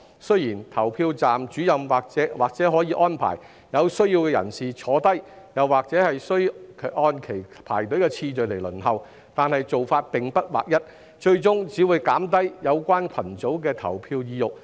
雖然投票站主任或可安排有需要人士坐下，但仍需按其排隊次序輪候，且做法並不劃一，最終只會減低有關群組的投票意欲。